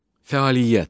Fəaliyyət.